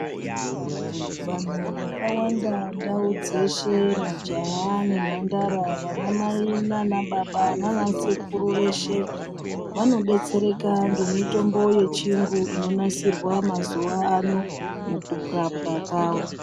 Vanhu vakawanda ndau dzeshe majaha nemhandara, vana mai nana baba, nanasekuru veshe vanodetsereka nemitombo yechiyungu inonasirwa mazuva ano mukurapwa kwavo.